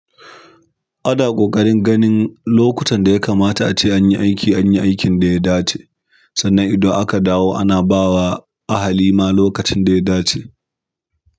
Ana ƙoƙarin ganin lokutan da ya kamata ace an yi aiki an yi aikin da ya dace sannan idan aka dawo ana ba wa ahalima lokacin da ya dace.